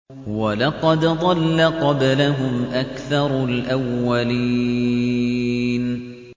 وَلَقَدْ ضَلَّ قَبْلَهُمْ أَكْثَرُ الْأَوَّلِينَ